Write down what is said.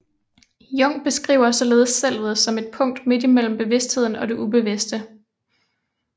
Jung beskriver således selvet som et punkt midt imellem bevidstheden og det ubevidste